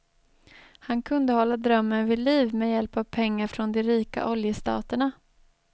Han kunde hålla drömmen vid liv med hjälp av pengar från de rika oljestaterna.